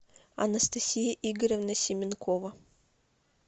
анастасия игоревна семенкова